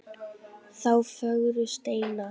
þá fögru steina.